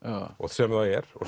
sem það er og